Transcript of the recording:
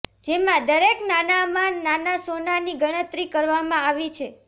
જેમાં દરેક નાનામાં નાના સોનાની ગણતરી કરવામાં આવી છે